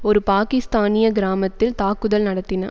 ஒரு பாக்கிஸ்தானிய கிராமத்தில் தாக்குதல் நடத்தின